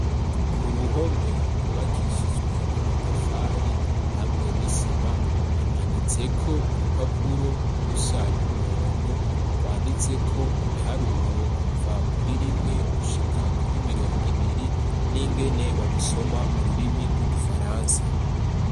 Ku ruhome rubakishijwe amatafari hamwe n'isima hamanitseko urupapuro urusa n'umuhondo rwanditse ko ibiharuro kuva kuri rimwe gushika kuri mirongo ibiri n'ingene babisoma mu rurimi rw'igifaransa.